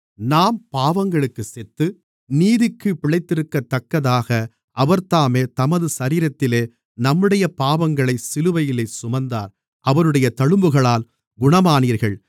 நாம் பாவங்களுக்குச் செத்து நீதிக்குப் பிழைத்திருக்கத்தக்கதாக அவர்தாமே தமது சரீரத்திலே நம்முடைய பாவங்களைச் சிலுவையிலே சுமந்தார் அவருடைய தழும்புகளால் குணமானீர்கள்